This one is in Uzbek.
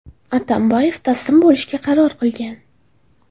Atambayev taslim bo‘lishga qaror qilgan.